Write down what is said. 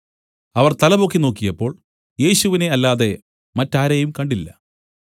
അവർ തലപൊക്കി നോക്കിയപ്പോൾ യേശുവിനെ അല്ലാതെ മറ്റാരെയും കണ്ടില്ല